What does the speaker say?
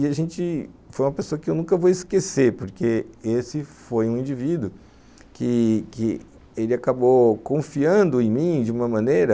E a gente foi uma pessoa que eu nunca vou esquecer, porque esse foi um indivíduo que que ele acabou confiando em mim de uma maneira